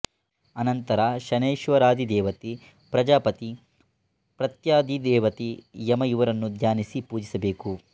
ಅನಂತರ ಶನೈಶ್ವರಾಧಿದೇವತೆ ಪ್ರಜಾಪತಿ ಪ್ರತ್ಯಧಿದೇವತೆ ಯಮ ಇವರನ್ನು ಧ್ಯಾನಿಸಿ ಪೂಜಿಸಬೇಕು